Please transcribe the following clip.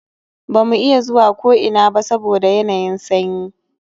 Ba mu iya zuwa ko ina ba saboda yanayin sanyi